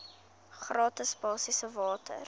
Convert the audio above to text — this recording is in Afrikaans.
gratis basiese water